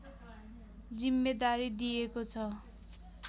जिम्मेदारी दिएको छ